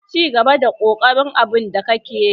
Cigaba da kokari a abun da kike.